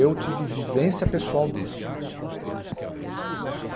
Eu tive vivência pessoal disso.